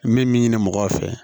N bɛ min ɲini mɔgɔw fɛ